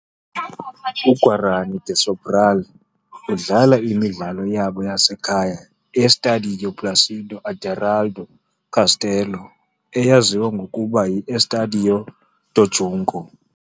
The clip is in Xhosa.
UGuarany de Sobral udlala imidlalo yabo yasekhaya e-Estádio Plácido Aderaldo Castelo, eyaziwa ngokuba yi-Estádio do Junco.